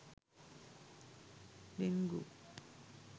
dengue